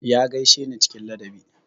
Ya gaishe ni cikin ladabi.